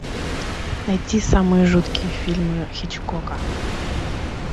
найти самые жуткие фильмы хичкока